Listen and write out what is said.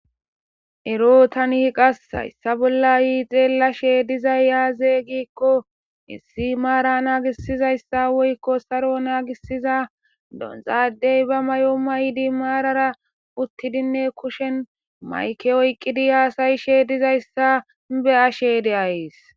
ero tanihi qas hayssa bolla yii xeella shee dizayya azeey gikko hissi maara naagisizayssa woykko saro naagisiza donzaadey ba may7o maydi maarara uttidinne kushen mayke oyqqidi haasayi shee dizayssa be ashe deayys